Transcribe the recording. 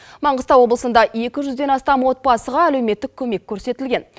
маңғыстау облысында екі жүзден астам отбасыға әлеуметтік көмек көрсетілген